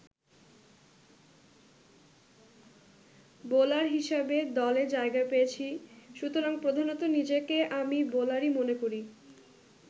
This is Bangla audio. বোলার হিসাবে দলে জায়গা পেয়েছি, সুতরাং প্রধানত নিজেকে আমি বোলারই মনে করি।